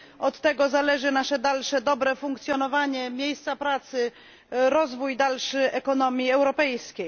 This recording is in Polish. Od tego zależy nasze dalsze dobre funkcjonowanie, miejsca pracy, dalszy rozwój ekonomii europejskiej.